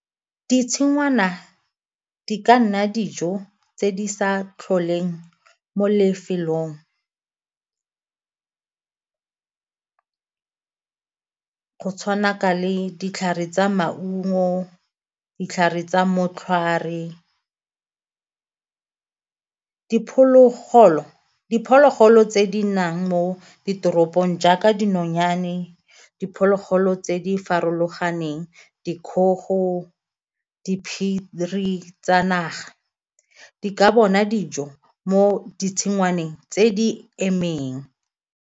Ditshingwana di ka nna dijo tse di sa tlholeng mo lefelong go tshwana ka le ditlhare tsa maungo, ditlhare tsa motlhware. Diphologolo tse di nnang mo ditoropong jaaka dinonyane, diphologolo dilo tse di farologaneng dikgogo, diphiri tsa naga, di ka bona dijo mo ditshingwaneng tse di emeng.